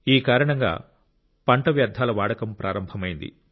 ఈ కారణంగా పంట వ్యర్థాల వాడకం ప్రారంభమైంది